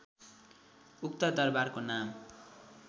उक्त दरबारको नाम